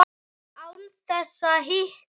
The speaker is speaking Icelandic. Án þess að hika.